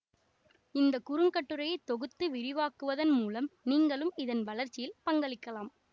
இந்த குறுங்கட்டுரையை தொகுத்து விரிவாக்குவதன் மூலம் நீங்களும் இதன் வளர்ச்சியில் பங்களிக்கலாம்